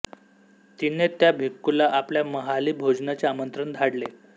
तिने त्या भिक्खूला आपल्या महाली भोजनाचे आमंत्रण धाडले